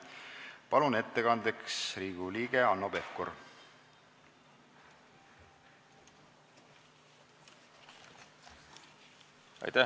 Palun ettekandeks kõnetooli Riigikogu liikme Hanno Pevkuri!